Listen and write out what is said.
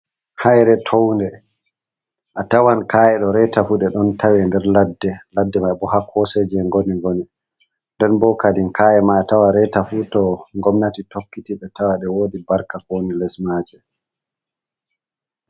Hayre town de, a tawan kaye ɗo reta fu ɗe ɗon tawe nder ladde, ladde mai bo ha koseji e ngoni gone, nden bo kadin kaye mai a tawan reta fu to gomnati tokkiti ɓe tawan ɗe wodi barka ko woni les maje.